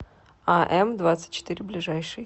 а м двадцать четыре ближайший